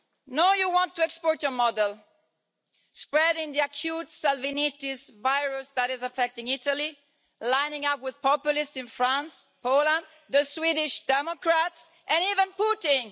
Now you want to export your model, spreading the acute Salvinitis virus that is affecting Italy, lining up with populists in France, Poland, the Swedish Democrats and even Putin.